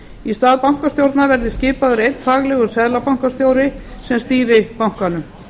í stað bankastjórnar verði skipaður einn faglegur seðlabankastjóri sem stýri bankanum